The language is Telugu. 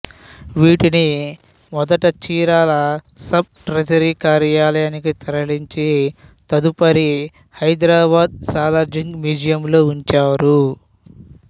వీటిని మొదట చీరాల సబ్ ట్రెజరీ కార్యాలయానికి తరలించి తదుపరి హైదరాబాద్ సాలార్జంగ్ మ్యూజియంలో ఉంచారు